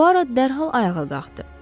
Puar dərhal ayağa qalxdı.